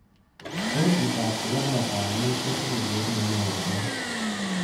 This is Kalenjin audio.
Kochitop kobo kotab mut kotinyei keret neo kobel